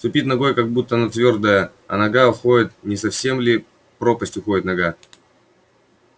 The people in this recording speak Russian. ступит ногой как будто на твёрдое а нога уходит не совсем ли в пропасть уходит нога